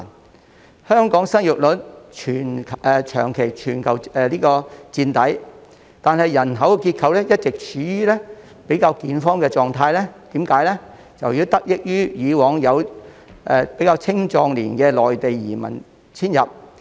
雖然香港的生育率長期在全球墊底，但人口結構一直處於較健康的狀態，這是由於以往有青壯年的內地移民遷入。